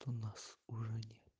у нас уже нет